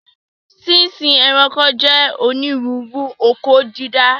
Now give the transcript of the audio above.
Sínsín ẹranko jẹ́ onírúurú oko dídá